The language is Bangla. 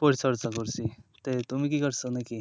পরিচর্যা করছি। তাই তুমি কি করছো নাকি?